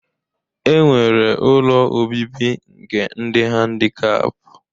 E nwere ụlọ obibi nke ndị dị handikap